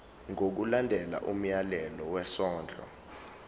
ngokulandela umyalelo wesondlo